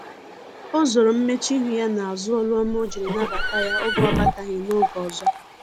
o zoro mmechuihu ya na azu olu ọma ojiri nabata ya oge ọ bataghi na-oge ọzọ